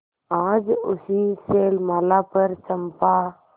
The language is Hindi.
आज उसी शैलमाला पर चंपा